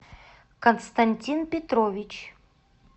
константин петрович